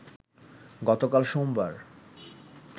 গতকাল সোমবার